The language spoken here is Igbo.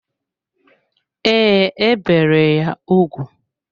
Ee, e bere ya ugwu.